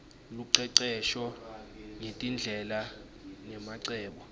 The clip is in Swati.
lucecesho ngetindlela nemacebo